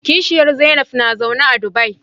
Kishiyar Zainab na zaune a Dubai.